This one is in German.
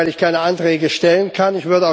Weil ich keine Anträge stellen kann.